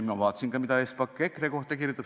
Ma vaatasin mida Espak on EKRE kohta kirjutanud.